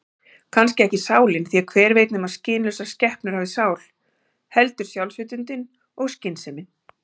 Kannski ekki sálin, því hver veit nema skynlausar skepnur hafi sál, heldur sjálfsvitundin og skynsemin.